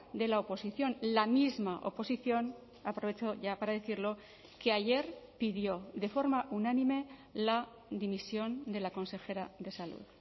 de la oposición la misma oposición aprovecho ya para decirlo que ayer pidió de forma unánime la dimisión de la consejera de salud